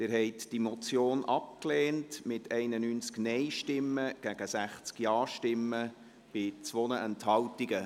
Sie haben die Motion abgelehnt mit 91 Nein- gegen 60 Ja-Stimmen bei 2 Enthaltungen.